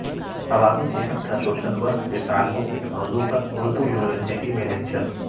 عوامی صحت کا سوشل ورک سے تعلق کے موضوع پر اردو یونیورسٹی میں لکچر